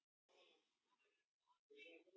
Það sýður inni í mér.